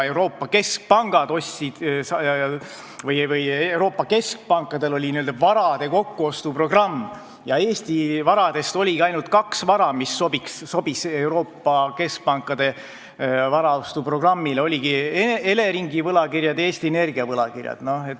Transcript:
Euroopa keskpankadel on n-ö varade kokkuostu programm ja Eesti varadest on sobinud selleks kaks: Eleringi võlakirjad ja Eesti Energia võlakirjad.